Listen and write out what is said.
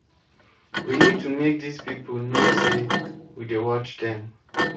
we need to make dis people know say we dey watch dem